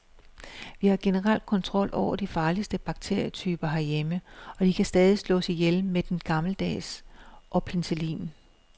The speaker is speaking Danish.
Vi har generelt kontrol over de farligste bakterietyper herhjemme, og de kan stadig slås ihjel med den gammeldags og penicillin.